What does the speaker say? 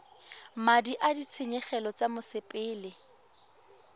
madi a ditshenyegelo tsa mosepele